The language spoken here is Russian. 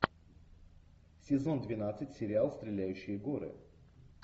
сезон двенадцать сериал стреляющие горы